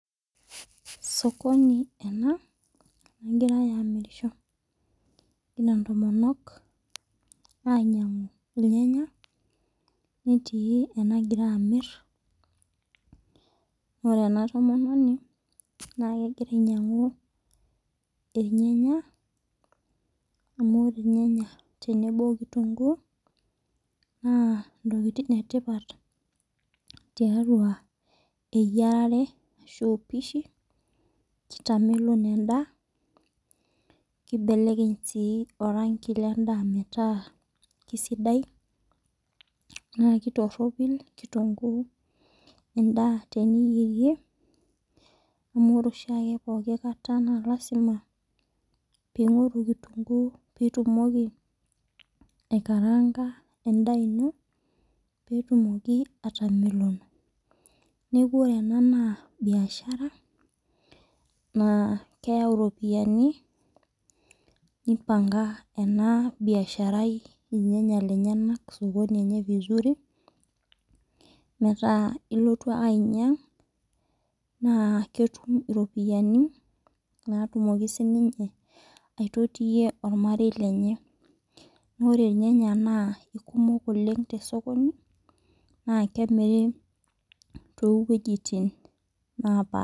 Osokoni ena nagirai amirisho egira ntomonok ainyangu irnyanya netii enagira amir ore entomononi na kegira ainyangu irnyanya amu ore irnyanya tenebo okitumguu na ntokitin etipat tiatua eyiarare kitamelok endaa kibelekeny si orangi lendaa metaa kesidai na kitoropil kitunguu endaa teniyierie ami ore oshiake pooki kata na lasima pingori kitunguu pitumoki aikaranga endaa ino petumoki atameloko neaku ore ena na bishara na keyau iropiyani nioanga enabiasharai irnyanya lenyenak osokoni enye metaa ilotu ake ainyang na ketum iropiyiani natumoki aitotio ormarei lenye ore nyannya na kekumok Oleng tosokoni a kemira towuejitin napaasha.